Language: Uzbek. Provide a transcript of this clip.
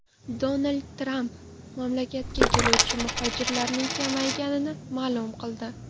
Donald Tramp mamlakatga keluvchi muhojirlarning kamayganini ma’lum qildi .